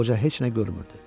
Qoca heç nə görmürdü.